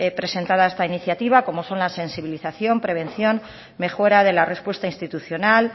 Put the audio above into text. presentada a esta iniciativa como son la sensibilización prevención mejora de la respuesta institucional